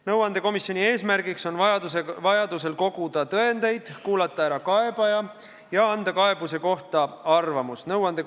Nõuandekomisjoni eesmärk on vajadusel tõendeid koguda, kuulata kaebaja ära ja kaebuse kohta oma arvamus avaldada.